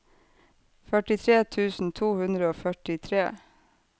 førtitre tusen to hundre og førtitre